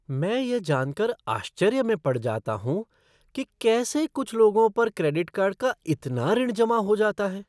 मैं यह जान कर आश्चर्य में पड़ जाता हूँ कि कैसे कुछ लोगों पर क्रेडिट कार्ड का इतना ऋण जमा हो जाता है।